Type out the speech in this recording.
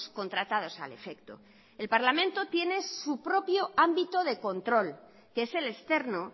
contratados al efecto el parlamento tiene su propio ámbito de control que es el externo